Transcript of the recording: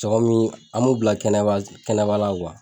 Cɔgɔn min an m'u bila kɛnɛba kɛnɛba la